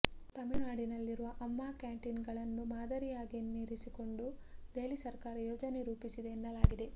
ತಮಿಳುನಾಡಿನಲ್ಲಿರುವ ಆಮ್ಮಾ ಕ್ಯಾಂಟಿನ್ಗಳನ್ನು ಮಾದರಿಯಾಗಿರಿಸಿಕೊಂಡು ದೆಹಲಿ ಸರಕಾರ ಯೋಜನೆ ರೂಪಿಸಿದೆ ಎನ್ನಲಾಗಿದೆ